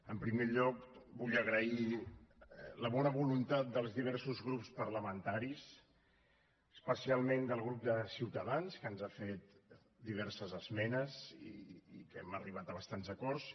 en primer lloc vull agrair la bona voluntat dels diversos grups parlamentaris especialment del grup de ciutadans que ens ha fet diverses esmenes i que hem arribat a bastants acords